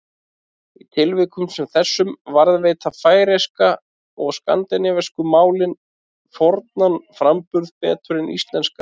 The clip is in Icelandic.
Í tilvikum sem þessum varðveita færeyska og skandinavísku málin fornan framburð betur en íslenska.